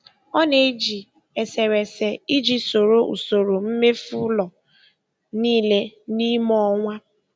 Ọ na-eji eserese iji soro usoro mmefu ụlọ niile n'ime ọnwa.